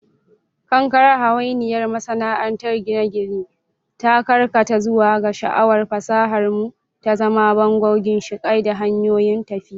Kankare, hawainiyar masana'antar gine-gine, ta karkata zuwa ga sha'awar fasahar mu, ta zama bango, ginshiƙai, da hanyoyin tafiya.